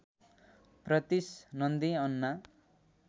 Pritish Nandy Anna